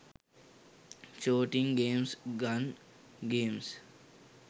shooting games gun games